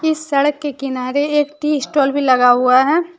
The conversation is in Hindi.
इस सड़क के किनारे एक टी स्टाल भी लगा हुआ है।